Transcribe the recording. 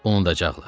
Unudacaqlar.